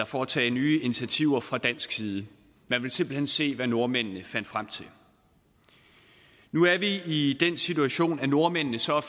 foretage nye initiativer fra dansk side man ville simpelt hen se hvad nordmændene fandt frem til nu er vi i den situation at nordmændene så er